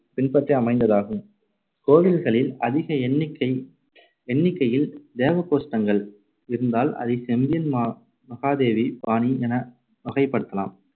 பின்பற்றி அமைந்தததாகும். கோவில்களில் அதிக எண்ணிக்கை எண்ணிக்கையில் தேவகோஷ்டங்கள் இருந்தால் அதை செம்பியன் மா~ மகாதேவி பாணி என வகைப்படுத்தலாம்.